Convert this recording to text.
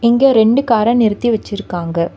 இங்க ரெண்டு கார நிறுத்தி வெச்சுருக்காங்க.